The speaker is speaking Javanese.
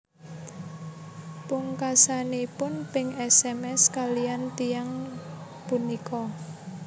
Pungkasanipun Pin sms kaliyan tiyang punika